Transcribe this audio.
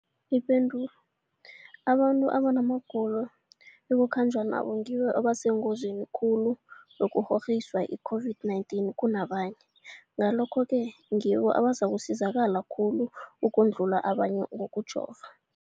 Ipendulo, abantu abanamagulo ekukhanjwa nawo ngibo abasengozini khulu yokukghokghiswa yi-COVID-19 kunabanye, Ngalokhu-ke ngibo abazakusizakala khulu ukudlula abanye ngokujova.